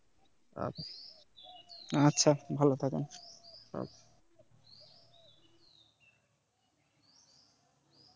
আচ্ছা ভাল থাকেন